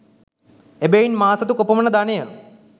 එබැවින් මා සතු කොපමණ ධනය